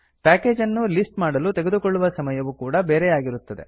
package ಅನ್ನು list ಮಾಡಲು ತೆಗೆದುಕೊಳ್ಳುವ ಸಮಯವು ಕೂಡಾ ಬೇರೆ ಬೇರೆಯಾಗಿರುತ್ತದೆ